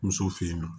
Musow fe yen nɔ